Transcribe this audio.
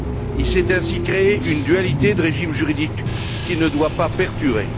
Il s'est ainsi créé une dualité de régime juridique, qui ne doit pas perdurer.